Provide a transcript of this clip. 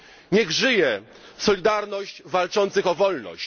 Niech żyje solidarność walczących o wolność!